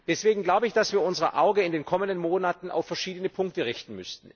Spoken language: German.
Deswegen müssen wir unser Auge in den kommenden Monaten auf verschiedene Punkte richten.